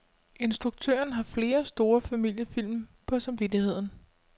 Instruktøren har flere store familiefilm på samvittigheden.